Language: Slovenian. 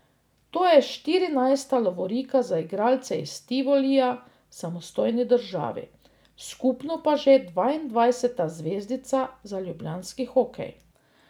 To je štirinajsta lovorika za igralce iz Tivolija v samostojni državi, skupno pa že dvaindvajseta zvezdica za ljubljanski hokej.